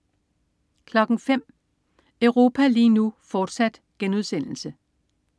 05.00 Europa lige nu, fortsat*